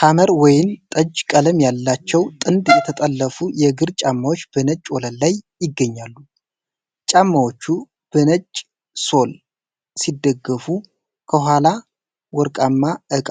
ሐመር ወይን ጠጅ ቀለም ያላቸው ጥንድ የተጠለፉ የእግር ጫማዎች በነጭ ወለል ላይ ይገኛሉ። ጫማዎቹ በነጭ ሶል ሲደገፉ፣ ከኋላ በወርቃማ እቃ